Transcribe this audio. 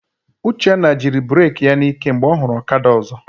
Uchenna jiri bureki ya n'ike mgbe ọ hụrụ ọkada ọzọ.